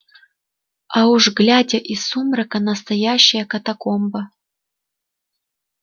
а уж глядя из сумрака настоящая катакомба